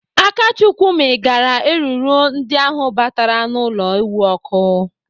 Akachukwu mịgara eruru ndị ahụ batara n'ụlọ ewu ọkụ.